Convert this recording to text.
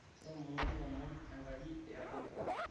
ntomono lomon enkaji iyabori